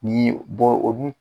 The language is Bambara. ni bɔ o dun